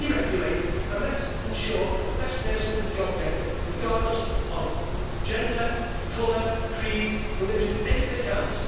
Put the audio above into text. Let us deregulate and let us ensure that the best person for the job gets it, regardless of gender, colour, creed, religion or anything else.